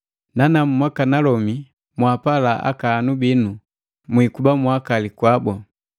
Nanamu Mwakanalomi, mwaapala akahanu bino, mwikuba mwakali kwabu.